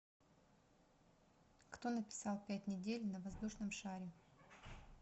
кто написал пять недель на воздушном шаре